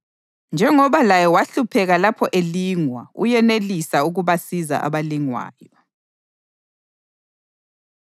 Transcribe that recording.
Njengoba laye wahlupheka lapho elingwa, uyenelisa ukubasiza abalingwayo.